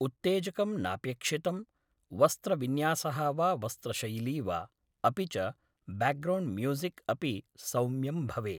उत्तेजकं नापेक्षितम् वस्त्रविन्यासः वा वस्रशैली वा अपि च ब्याग्रौण्ड् म्यूझिक् अपि सौम्यं भवेत्